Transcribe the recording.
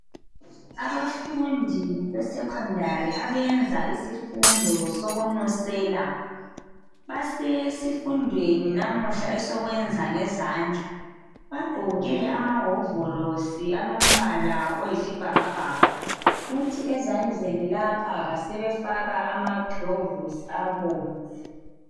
Abafundi abesecondary abafunda isifundo sokunusela basesifundweni namuhla esokwenza ngezandla bagqoke amawovalosi alombala oyisibhakabhaka futhi ezandleni lapha basebefaka amaglovisi abomvu